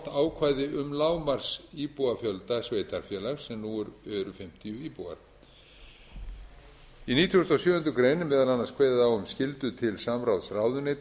ákvæði um lágmarksíbúafjölda sveitarfélags sem nú eru fimmtíu íbúar í nítugasta og sjöundu grein er meðal annars kveðið á um skyldu til samráðs ráðuneyta og